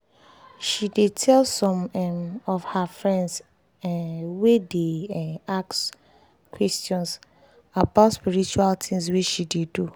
she dey tell some um of her friends um wey dey um ask questions about spiritual things wey she dey do